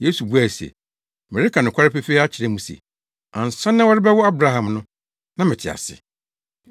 Yesu buae se, “Mereka nokware pefee akyerɛ mo se, ansa na wɔrebɛwo Abraham no, na mete ase.”